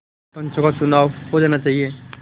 पंचों का चुनाव हो जाना चाहिए